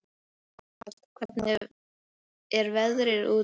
Amal, hvernig er veðrið úti?